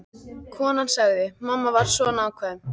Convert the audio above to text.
Konan sagði: Mamma var svo nákvæm.